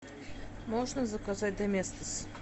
можно заказать доместос